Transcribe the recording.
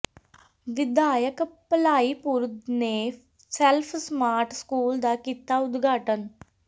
ਵਿਧਾਇਕ ਭਲਾਈਪੁਰ ਨੇ self smart school ਦਾ ਕੀਤਾ ਉਦਘਾਟਨ